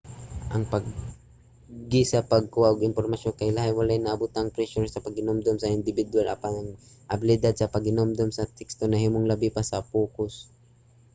ang paagi sa pagkuha og impormasyon kay lahi. wala na nabutang ang presyur sa paghinumdom sa indibidwal apan ang abilidad sa paghinumdom sa teksto nahimong labi pa sa pokus